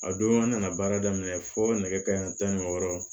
A don an nana baara daminɛ fɔ nɛgɛ kanɲɛ tan ni wɔɔrɔ